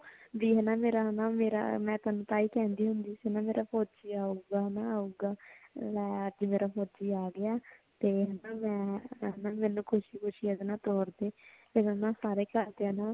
B ਹੇਨਾ ਮੇਰਾ ਨਾ ਮੇਰਾ ਮੈਂ ਤੁਹਾਨੂੰ ਤਾਈ ਕੇਂਦੀ ਸੀ ਨਾ ਮੇਰਾ ਫੋਜੀ ਆਊਗਾ ਹੇਨਾ ਆਊਗਾ ਲੈ ਅੱਜ ਮੇਰਾ ਫੋਜੀ ਆ ਗਿਆ ਤੇ ਹੋਣ ਹੋਣ ਨਾ ਮੈਂ ਏਦੇ ਨਾਲ ਖੁਸ਼ੀ ਖੁਸ਼ੀ ਏਦੇ ਨਾਲ ਤੋਰ ਦੇ ਤੇ ਓਨੁ ਸਾਰੇ ਘਾਰ ਦੇ ਨਾ